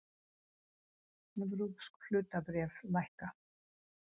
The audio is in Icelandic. Evrópsk hlutabréf lækka